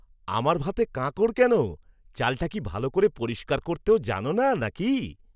আমার ভাতে কাঁকর কেন? চালটা কি ভালো করে পরিষ্কার করতেও জানো না নাকি?